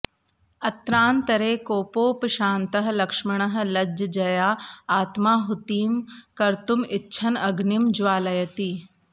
अत्रान्तरे कोपोपशान्तः लक्ष्मणः लज्जया आत्माहुतिं कर्तुम् इच्छन् अग्निं ज्वालयति